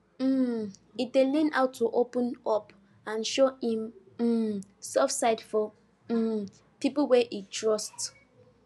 um he dey learn how to open up and show him um soft side for um pipu wey he trust